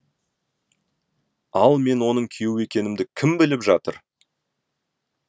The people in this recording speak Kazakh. ал мен оның күйеуі екенімді кім біліп жатыр